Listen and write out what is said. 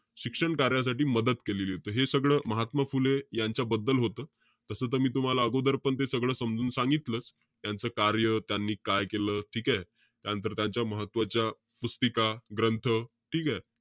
शिक्षण कार्यासाठी मदत केलेलीय. त हे सगळं, महात्मा फुले यांच्या बद्दल होतं. तस मी तुम्हाला अगोदरपण ते सगळं समजून सांगितलंच. त्यांचं कार्य, त्यांनी काय केलं, ठीकेय? त्यानंतर त्यांच्या महत्वाच्या पुस्तिका, ग्रंथ. ठीकेय?